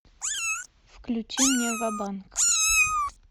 включи мне ва банк